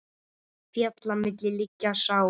Fjalla milli liggja sá.